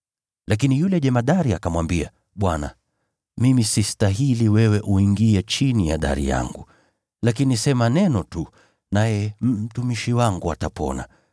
Lakini yule jemadari akamwambia, “Bwana, mimi sistahili wewe kuingia chini ya dari yangu. Lakini sema neno tu, naye mtumishi wangu atapona.